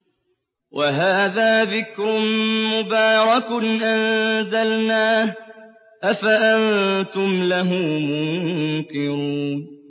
وَهَٰذَا ذِكْرٌ مُّبَارَكٌ أَنزَلْنَاهُ ۚ أَفَأَنتُمْ لَهُ مُنكِرُونَ